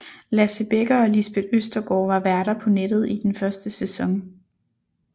Lasse Bekker og Lisbeth Østergaard var værter på nettet i den første sæson